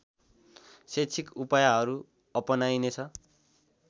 शैक्षिक उपायहरू अपानाइनेछ